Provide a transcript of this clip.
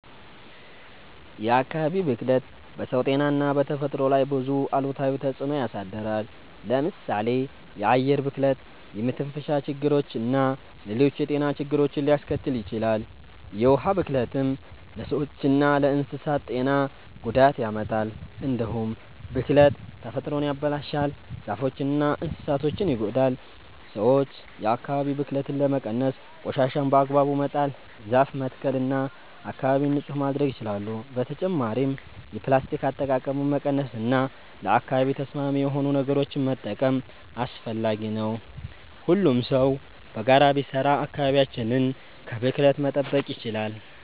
የአካባቢ ብክለት በሰው ጤና እና በተፈጥሮ ላይ ብዙ አሉታዊ ተጽዕኖ ያሳድራል። ለምሳሌ የአየር ብክለት የመተንፈሻ ችግርና ሌሎች የጤና ችግሮችን ሊያስከትል ይችላል። የውሃ ብክለትም ለሰዎችና ለእንስሳት ጤና ጉዳት ያመጣል። እንዲሁም ብክለት ተፈጥሮን ያበላሻል፣ ዛፎችንና እንስሳትን ይጎዳል። ሰዎች የአካባቢ ብክለትን ለመቀነስ ቆሻሻን በአግባቡ መጣል፣ ዛፍ መትከል እና አካባቢን ንጹህ ማድረግ ይችላሉ። በተጨማሪም የፕላስቲክ አጠቃቀምን መቀነስ እና ለአካባቢ ተስማሚ የሆኑ ነገሮችን መጠቀም አስፈላጊ ነው። ሁሉም ሰው በጋራ ቢሰራ አካባቢያችንን ከብክለት መጠበቅ ይቻላል።